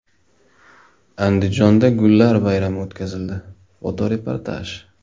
Andijonda gullar bayrami o‘tkazildi (fotoreportaj).